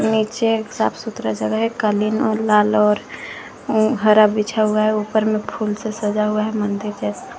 नीचे साफ सुथरा जगह है कालीन और लाल और हर बीछा हुआ है ऊपर में फूल से सजा हुआ है मंदिर जैसा।